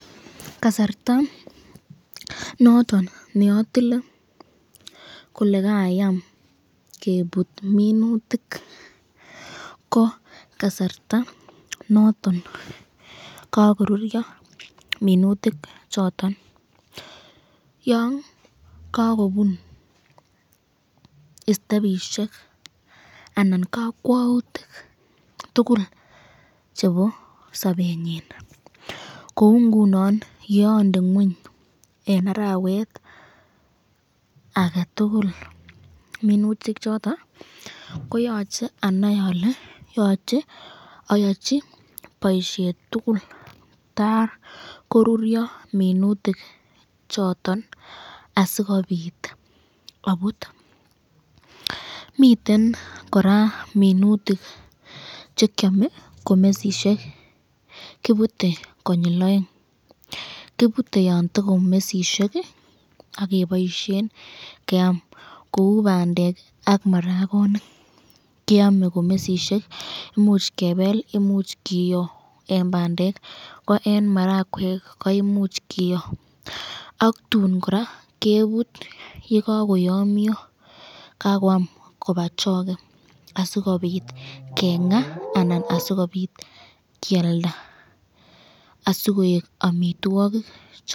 kasarta noton neotile kole kayaam kebuut minutik, ko kasarta noton kogoruryo minutik choton yoon kagobuun istebishek anan kakwoutik tugul chebo sobenyiin, kouu ngunon yonde ngweny en araweet agetugul minutik choton koyoche anai ole yoche oyochi boishet tugul takoruryo minutik choton asigobiit obuut, miten koraa minutik chekyome komesisyek, kibute konyiil oeng kibute yon tagomesisyeek iih ak keboishen keyaam kouu bandeek ak maragoniik keome komesisyeek, imuuch kebeel imuch kiyoo en bandeek ko en marakweek ko imuch kiyoo ak tuun koraa kebut yegagoyomyo kagoyaam koba choge asigobiit kengaa anan asigobiit kyaalda asigoek omitwogik.